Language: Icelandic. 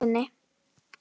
Köllun sinni?